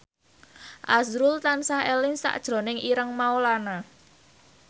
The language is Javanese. azrul tansah eling sakjroning Ireng Maulana